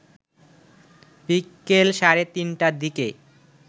বিকেল সাড়ে তিনটার দিকে